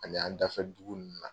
Ani an dafɛ dugu ninnu na.